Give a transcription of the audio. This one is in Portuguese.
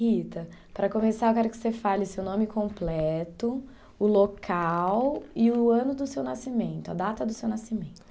Rita, para começar, eu quero que você fale seu nome completo, o local e o ano do seu nascimento, a data do seu nascimento.